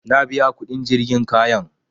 Na biya kuɗin jirgin kayan